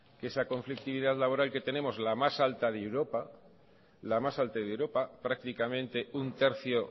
que esa conflictividad laboral que tenemos que es la más alta de europa prácticamente un tercio